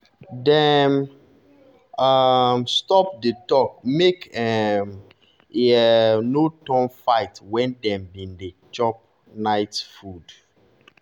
dem um stop the talk make um e um no turn fight when dem been dey chop night food.